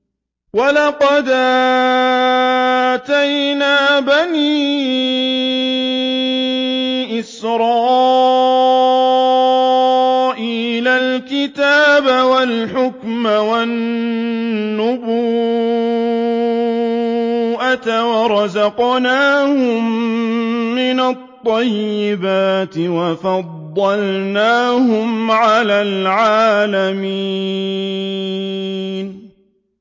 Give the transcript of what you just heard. وَلَقَدْ آتَيْنَا بَنِي إِسْرَائِيلَ الْكِتَابَ وَالْحُكْمَ وَالنُّبُوَّةَ وَرَزَقْنَاهُم مِّنَ الطَّيِّبَاتِ وَفَضَّلْنَاهُمْ عَلَى الْعَالَمِينَ